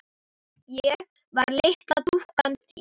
Ég var litla dúkkan þín.